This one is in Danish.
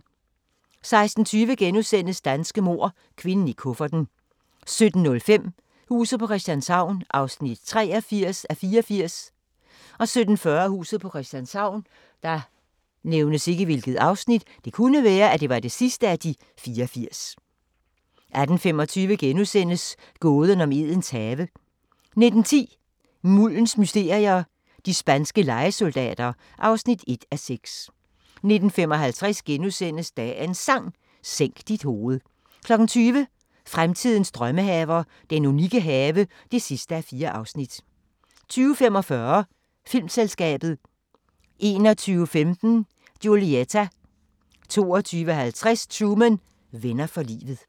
16:20: Danske mord – kvinden i kufferten * 17:05: Huset på Christianshavn (83:84) 17:40: Huset på Christianshavn 18:25: Gåden om Edens have * 19:10: Muldens mysterier - de spanske lejesoldater (1:6) 19:55: Dagens Sang: Sænk dit hoved * 20:00: Fremtidens drømmehaver - den unikke have (4:4) 20:45: Filmselskabet 21:15: Julieta 22:50: Truman: Venner for livet